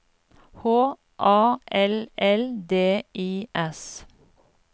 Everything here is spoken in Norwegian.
H A L L D I S